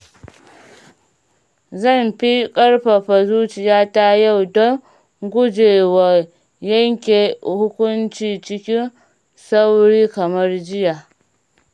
Zan fi ƙarfafa zuciyata yau don guje wa yanke hukunci cikin sauri kamar jiya.